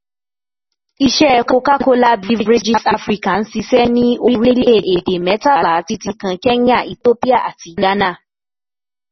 Iṣẹ́ Coca-Cola Beverages Africa ń ṣiṣẹ́ ní orílẹ̀-èdè mẹ́tàlá, títí kan Kenya, Ethiopia àti Ghana.